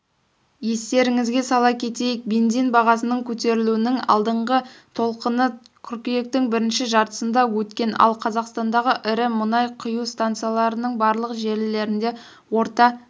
естеріңізге сала кетейік бензин бағасының көтерілуінің алдыңғы толқыны қыркүйектің бірінші жартысында өткен ал қазақстандағы ірі мұнай құю станцияларының барлық желілерінде орта